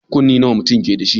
Kunne nawa mutun keda shi